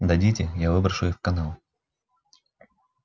дадите я выброшу их в канаву